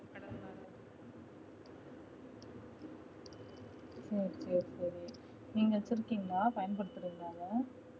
okay சரி நீங்க வச்சிருக்கீங்களா பயன்படுத்துறீங்களா அத